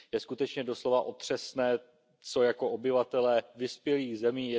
Je skutečně doslova otřesné, co jako obyvatelé vyspělých zemí